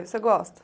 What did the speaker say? Você gosta?